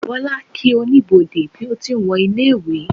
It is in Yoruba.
bola kí Oníbodè bí o ti n wo ilé ìwé